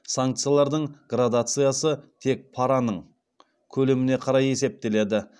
санкциялардың градациясы тек параның көлеміне қарай есептеледі